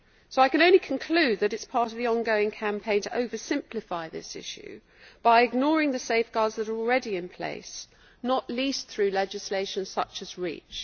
I can only conclude that it is part of the ongoing campaign to oversimplify this issue by ignoring the safeguards that are already in place, not least through legislation such as REACH.